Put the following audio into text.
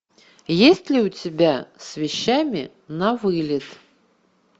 есть ли у тебя с вещами на вылет